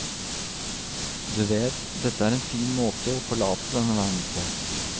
Du vet, dette er en fin måte å forlate denne verden på.